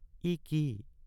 ই কি।